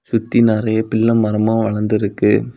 சுத்தி நெறைய பிள்ள மரமா வளந்திருக்கு.